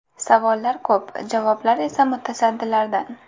Savollar ko‘p, javoblar esa mutasaddilardan.